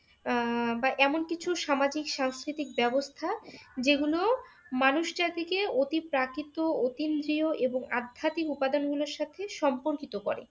আহ বা এমন কিছু সামাজিক সাংস্কৃতিক ব্যবস্থা যেগুলো মানুষ জাতিকে অতি প্রাকৃত অতিমজিও এবং আধ্যাত্মিক উপাদান গুলোর সাথে সম্পর্কিত করে।